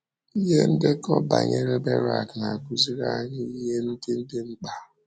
Ihe ndekọ banyere Berak na - akụziri anyị ihe ndị dị mkpa.